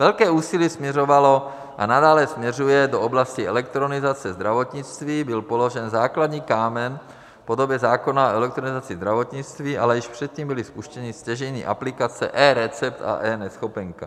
Velké úsilí směřovalo a nadále směřuje do oblasti elektronizace zdravotnictví, byl položen základní kámen v podobě zákona o elektronizaci zdravotnictví, ale již předtím byly spuštěny stěžejní aplikace eRecept a eNeschopenka.